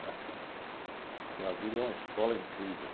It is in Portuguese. Né? Porque a vida é uma escola incrível.